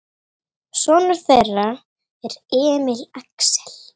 Sonur þeirra er Emil Axel.